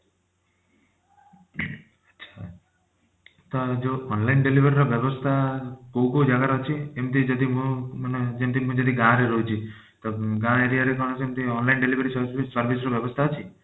ତ ଯୋଉ online delivery ର ବ୍ୟବସ୍ଥା କଉ କଉ ଜାଗା ରେ ଅଛି ଏମତି ଯଦି ମୁଁ ମାନେ ଯେମତି ମୁଁ ଯଦି ଗାଁ ରେ ରହୁଛି ତ ଗାଁ area ରେ କଣ ସେମତି online delivery service service ର ବ୍ୟବସ୍ଥା ଅଛି?